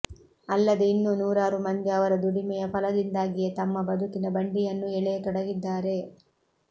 ಅಲ್ಲದೆ ಇನ್ನೂ ನೂರಾರು ಮಂದಿ ಅವರ ದುಡಿಮೆಯ ಫಲದಿಂದಾಗಿಯೇ ತಮ್ಮ ಬದುಕಿನ ಬಂಡಿಯನ್ನೂ ಎಳೆಯ ತೊಡಗಿದ್ದಾರೆ